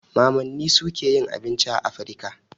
Mamanni suke yin abinci a Afrika.